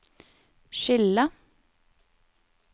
skille